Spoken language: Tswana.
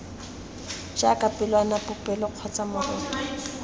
jaaka pelwana popelo kgotsa moroto